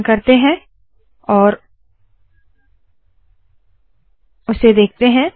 संकलन करते है और उसे देखते है